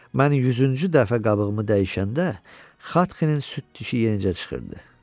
Mən 100-cü dəfə qabığımı dəyişəndə Xatxinin süd dişi yenicə çıxırdı.